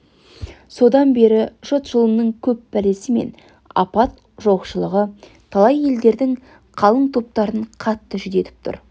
содан бері жұт жылының көп пәлесі мен апаты жоқшылығы талай елдердің қалың топтарын қатты жүдетіп тұр